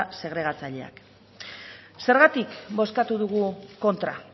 segregatzaileak zergatik bozkatu dugu kontra